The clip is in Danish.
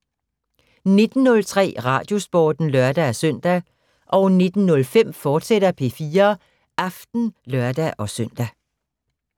19:03: Radiosporten (lør-søn) 19:05: P4 Aften, fortsat (lør-søn)